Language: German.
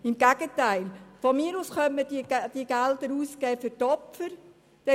Im Gegenteil: Von mir aus könnte man diese Gelder für die Opfer ausgeben.